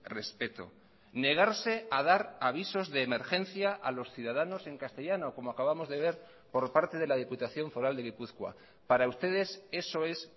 respeto negarse a dar avisos de emergencia a los ciudadanos en castellano como acabamos de ver por parte de la diputación foral de gipuzkoa para ustedes eso es